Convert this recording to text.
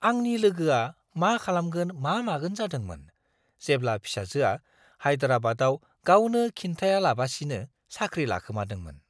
आंनि लोगोआ मा-खालामगोन मा-मागोन जादोंमोन, जेब्ला फिसाजोआ हायदेराबादआव गावनो खिन्थायालाबासिनो साख्रि लाखोमादोंमोन!